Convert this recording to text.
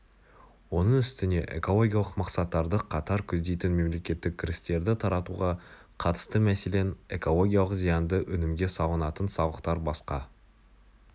оның үстіне экологиялық мақсаттарды қатар көздейтін мемлекеттік кірістерді таратуға қатысты мәселен экологиялық зиянды өнімге салынатын салықтар басқа